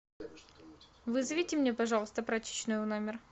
вызовите мне пожалуйста прачечную в номер